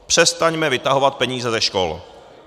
Přestaňme vytahovat peníze ze škol.